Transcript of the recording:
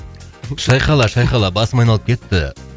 шайқала шайқала басым айналып кетті